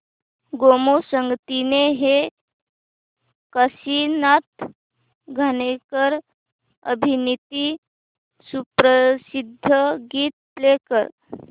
गोमू संगतीने हे काशीनाथ घाणेकर अभिनीत सुप्रसिद्ध गीत प्ले कर